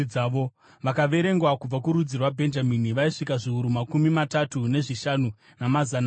Vakaverengwa kubva kurudzi rwaBhenjamini vaisvika zviuru makumi matatu nezvishanu, namazana mana.